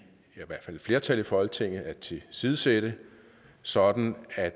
hvert fald et flertal i folketinget at tilsidesætte sådan at